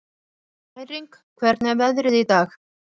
Bæring, hvernig er veðrið í dag?